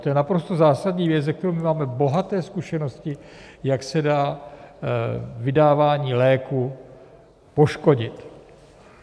To je naprosto zásadní věc, se kterou máme bohaté zkušenosti, jak se dá vydávání léků poškodit.